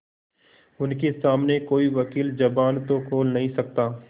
उनके सामने कोई वकील जबान तो खोल नहीं सकता